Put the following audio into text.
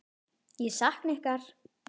Ég sakna ykkar.